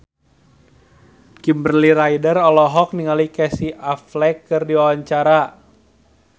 Kimberly Ryder olohok ningali Casey Affleck keur diwawancara